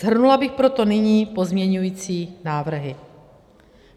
Shrnula bych proto nyní pozměňovací návrhy.